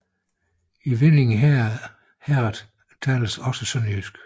I Viding Herred tales også sønderjysk